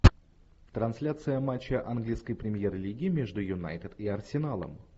трансляция матча английской премьер лиги между юнайтед и арсеналом